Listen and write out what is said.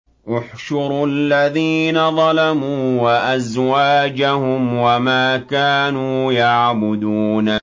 ۞ احْشُرُوا الَّذِينَ ظَلَمُوا وَأَزْوَاجَهُمْ وَمَا كَانُوا يَعْبُدُونَ